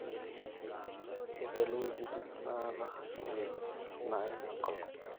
tegelu wuejitin naata uwueji naim enkolong